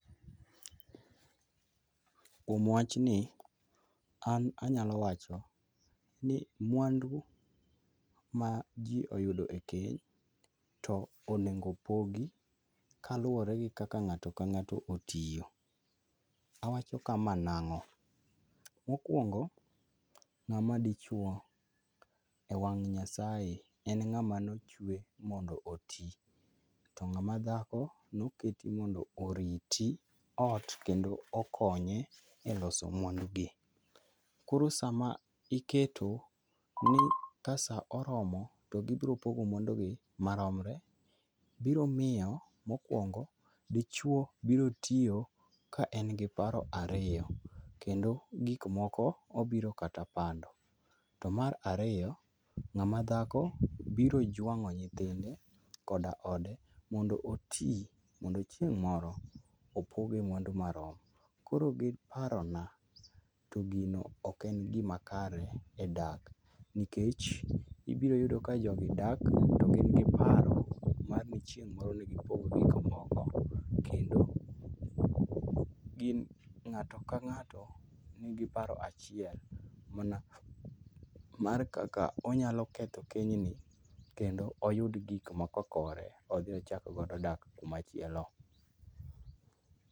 Kuom wachni, an anyalo wacho ni mwandu ma ji oyudo e keny, to onego opogi, kaluwore gi kaka ng'ato ka ng'ato otiyo. Awacho kama nang'o, mokwongo ng'ama dichwo e wang' nyasae en ng'ama noche mondo oti, to ng'ama dhako noketi mondo oriti ot, kendo okonye eloso mwandu gi. Koro sama iketo ni ka sa oromo to gibiro podo mwandugi maromore, biro miyo mokwongo, dichwo biro tiyo ka en gi paro ariyo kendo gik moko obiro kata pando. To mar ariyo, ng'ama dhako biro jwang'o nyithinde koda ode, mondo oti, mondo chieng' moro opoge mwandu marom. Koro giparo na to gino ok en gima kare e dak. Nikech ibiro yudo ka jogi dak gi paro ni chieng' moro ibiro pogi gik moko. Kendo gin ng'ato ka ng'ato nigi paro achiel mana mar kaka onyalo ketho keny ni kendo oyud gik maka kore odhi ochak godo dak kuma chielo.